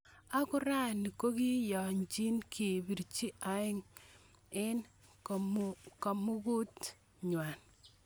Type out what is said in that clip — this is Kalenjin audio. Ako rani kokokiyanji kopirech, aenge eng kamuket nywon.